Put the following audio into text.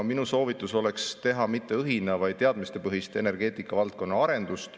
Minu soovitus oleks teha mitte õhina-, vaid teadmistepõhist energeetikavaldkonna arendust.